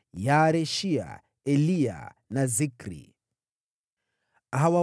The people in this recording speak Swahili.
Yaareshia, Eliya na Zikri walikuwa wana wa Yerohamu.